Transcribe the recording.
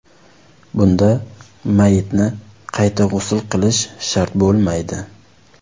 Bunda mayyitni qayta g‘usl qilish shart bo‘lmaydi.